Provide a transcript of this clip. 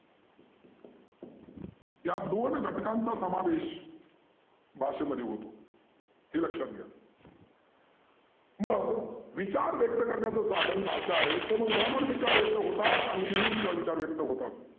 या दोन घटकांंचा समावेश भाषेमध्ये होतो. हे लक्षात घ्या मग विचार व्यक्त करण्याचं साधन भाषा आहे तर मग बोलून विचार व्यक्त होतात आणि लिहून सुध्दा विचार व्यक्त होतात.